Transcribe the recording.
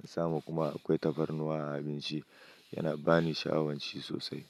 na samu kuma akwai tafarnuwa a abinci. Yana ba ni sha'awanci sosai.